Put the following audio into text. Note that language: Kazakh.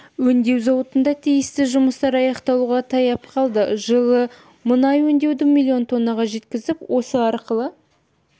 өңдеу зауыттарында тиісті жұмыстар аяқталуға таяп қалды жылы мұнай өңдеуді миллион тоннаға жеткізіп осы арқылы